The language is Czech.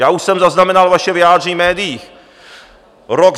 Já už jsem zaznamenal vaše vyjádření v médiích: Rok.